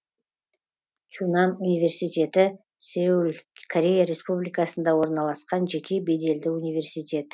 чунан университеті сеул корея республикасында орналасқан жеке беделді университет